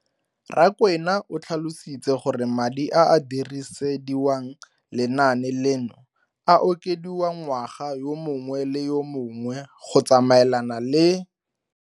Rakwena o tlhalositse gore madi a a dirisediwang lenaane leno a okediwa ngwaga yo mongwe le yo mongwe go tsamaelana le.